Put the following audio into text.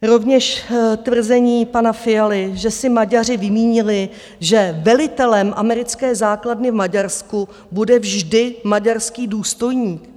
Rovněž tvrzení pana Fialy, že si Maďaři vymínili, že velitelem americké základny v Maďarsku bude vždy maďarský důstojník.